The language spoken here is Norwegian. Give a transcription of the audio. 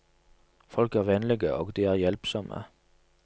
Folk er vennlige, og de er hjelpsomme.